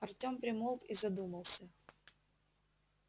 артём примолк и задумался